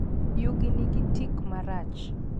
Yugi nigi tik marach.